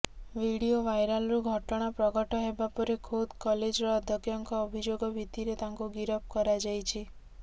video ଭାଇରାଲ୍ରୁ ଘଟଣା ପ୍ରଘଟ ହେବା ପରେ ଖୋଦ୍ କଲେଜର ଅଧ୍ୟକ୍ଷଙ୍କ ଅଭିଯୋଗ ଭିତ୍ତିରେ ତାଙ୍କୁ ଗିରଫ କରାଯାଇଛି